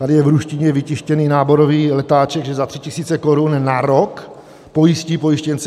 Tady je v ruštině vytištěný náborový letáček, že za 3 000 korun na rok pojistí pojištěnce.